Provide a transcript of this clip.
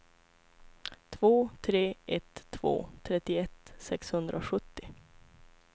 två tre ett två trettioett sexhundrasjuttio